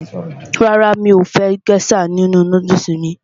Rárá, mi ò fẹ́ gésà nínu nódùsù mí